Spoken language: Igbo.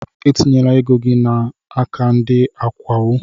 Etinyela ego gị n'aka ndị akawo!